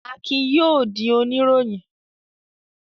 Akin yóò di oníròyìn.